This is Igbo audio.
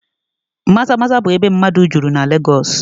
Maza-Maza bụ ebe mmadụ juru na Legọs